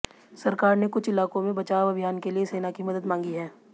सरकार ने कुछ इलाकों में बचाव अभियान के लिए सेना की मदद मांगी है